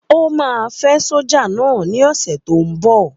Ó máa fẹ́ sójà náà ní ọ̀sẹ̀ tó n bọ̀